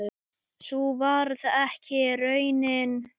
Sú varð ekki raunin.